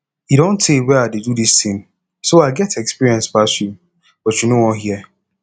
e don tey wey i dey do dis thing so i get experience pass you but you no wan hear